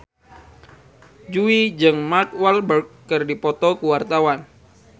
Jui jeung Mark Walberg keur dipoto ku wartawan